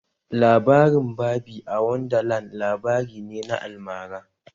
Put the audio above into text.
Labarin Barbie a Wonderland labari ne na almara